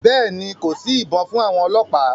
Bẹ́ẹ̀ ni, kò sí ibọn fún àwọn ọlọ́pàá.